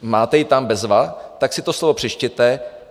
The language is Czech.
Máte ji tam, bezva, tak si to slovo přečtěte.